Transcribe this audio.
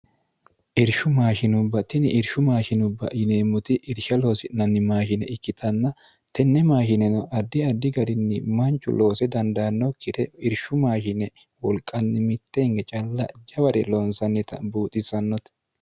irshu maashinubbatini irshu maashinubba yineemmuti irsha loosi'nanni maashine ikkitanna tenne maashineno addi addi garinni manchu loose dandaanno kire irshu maashine wolqanni mitte hnge calla jaware loonsannita buuxissannote